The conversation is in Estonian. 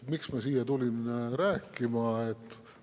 Miks ma siia tulin rääkima?